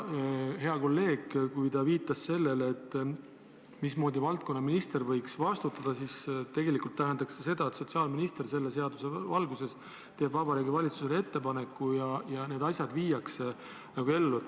Kui hea kolleeg viitas sellele, mismoodi valdkonnaminister võiks vastutada, siis tegelikult tähendaks see seda, et sotsiaalminister selle seaduse valguses teeb Vabariigi Valitsusele ettepaneku ja need asjad viiakse nagu ellu.